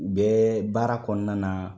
U bɛ baara kɔnɔna na